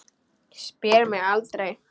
Spyr mig aldrei.